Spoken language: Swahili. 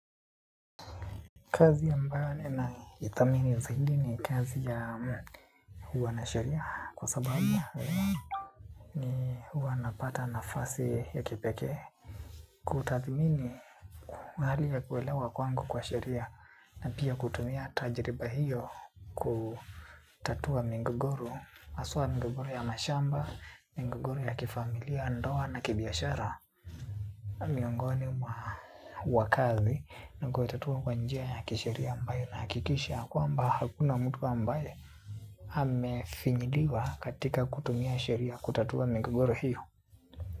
Kazi ambayo nina ithamini zahidi ni kazi ya huwanasheria kwa sababu ni huwa napata nafasi ya kipeke. Kutathimini hali ya kuelewa kwangu kwa sheria na pia kutumia tajiriba hiyo kutatua mingogoro. Haswa mingogoro ya mashamba, mingogoro ya kifamilia ndoa na kibiashara. Na miongoni mwa wakazi nakoitatua kwa njia ya kisheria ambayo inahakikisha ya kwamba hakuna mtu ambaye amefinyiliwa katika kutumia sheria kutatua migogoro hiyo.